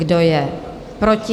Kdo je proti?